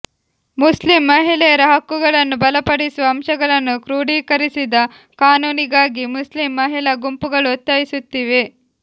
Muslim ಮಹಿಳೆಯರ ಹಕ್ಕುಗಳನ್ನು ಬಲಪಡಿಸುವ ಅಂಶಗಳನ್ನು ಕ್ರೋಡೀಕರಿಸಿದ ಕಾನೂನಿಗಾಗಿ ಮುಸ್ಲಿಂ ಮಹಿಳಾ ಗುಂಪುಗಳು ಒತ್ತಾಯಿಸುತ್ತಿವೆ